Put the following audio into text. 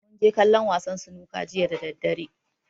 Mun je kallon wasan sunuka jiya da daddare.